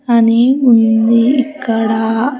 అని ఉంది ఇక్కడ.